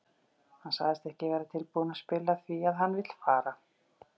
Hann sagðist ekki vera tilbúinn að spila því að hann vill fara.